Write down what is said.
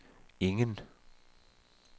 ingen